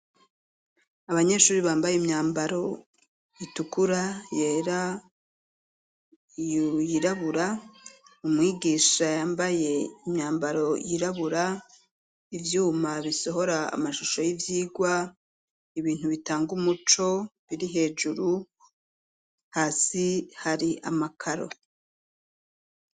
Abanyeshure bambaye imyambaro itukura yera, yirabura ,umwigisha yambaye imyambaro yirabura ,ivyuma bisohora amashusho y'ivyigwa, ibintu bitanga umuco biri hejuru, hasi hari amakaro.